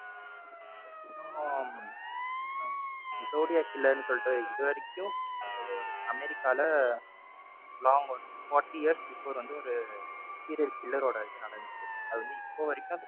zodiac killer ன்னு சொல்லிட்டு இது வரைக்கும் அதாவது ஒரு அமெரிக்கால long ஒரு forty years before வந்து ஒரு serial killer ஓட இது நடந்துச்சு. அது இப்போ வரைக்கும்